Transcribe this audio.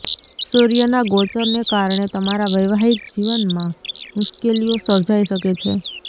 સૂર્યના ગોચરને કારણે તમારા વૈવાહિક જીવનમાં મુશ્કેલીઓ સર્જાઈ શકે છે